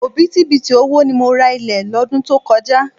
Òbítíbitì owó ni mo ra ilẹ̀ lọ́dún tó kọjá.